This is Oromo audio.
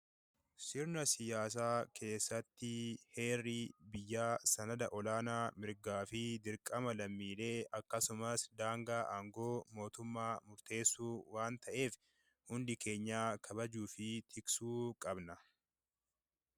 Sirna siyaasaa keessatti, heerri biyyaa sanada olaanaa mirgaa fi dirqama lammiilee akkasumas daangaa aangoo mootummaa murteessu waan ta'eef hundi keenya kabajuu fi tiksuu qabna.